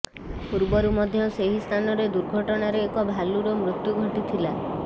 ପୂର୍ବରୁ ମଧ୍ୟ ସେହି ସ୍ଥାନରେ ଦୁର୍ଘଟଣାରେ ଏକ ଭାଲୁର ମୃତ୍ୟୁ ଘଟିଥିଲା